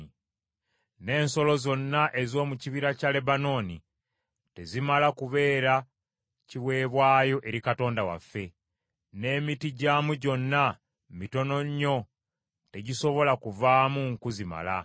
N’ensolo zonna ez’omu kibira kya Lebanooni tezimala kubeera kiweebwayo eri Katonda waffe, n’emiti gyamu gyonna mitono nnyo tegisobola kuvaamu nku zimala.